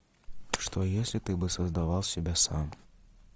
что если ты бы создавал себя сам